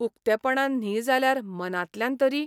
उक्तेपणान न्ही जाल्यार मनांतल्यान तरी?